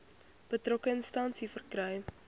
betrokke instansie verkry